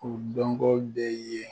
K'u dɔnko bɛ yen